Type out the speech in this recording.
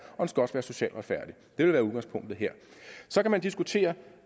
socialt retfærdig det vil være udgangspunktet her så kan man diskutere